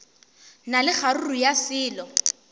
na le kgaruru ya selo